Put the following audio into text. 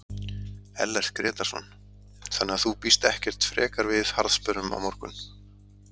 Ellert Grétarsson: Þannig að þú býst ekkert frekar við harðsperrum á morgun?